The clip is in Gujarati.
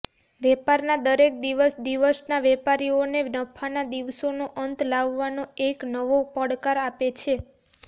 વેપારના દરેક દિવસ દિવસના વેપારીઓને નફાના દિવસનો અંત લાવવાનો એક નવો પડકાર આપે છે